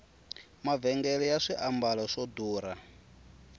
mavhengele ya swimbalo swa durha